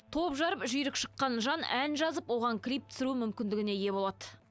топ жарып жүйрік шыққан жан ән жазып оған клип түсіру мүмкіндігіне ие болады